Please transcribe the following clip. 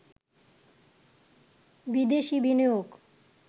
বিদেশি বিনিয়োগ